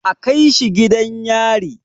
A kaishi gidan yari!